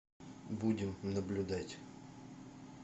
будем наблюдать